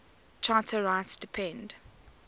charter rights depend